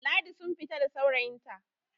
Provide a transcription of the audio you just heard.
Ladi sun fita da saurayinta